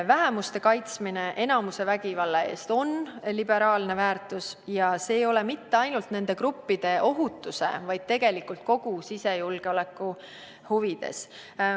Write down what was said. Vähemuste kaitsmine enamuse vägivalla eest on liberaalne väärtus ja see ei ole mitte ainult nende gruppide ohutuse, vaid tegelikult kogu sisejulgeoleku huvides.